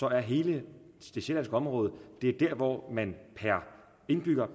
er hele det sjællandske område der hvor man per indbygger